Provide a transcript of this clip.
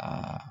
Ka